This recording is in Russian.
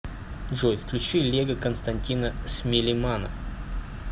джой включи лего константина смилемана